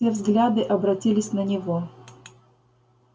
все взгляды обратились на него